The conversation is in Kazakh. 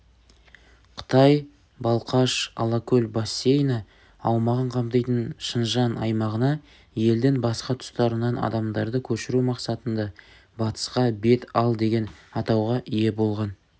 қытай балқаш-алакөл бассейні аумағын қамтитын шыңжаң аймағына елдің басқа тұстарынан адамдарды көшіру мақсатында батысқа бет ал деген атауға ие болған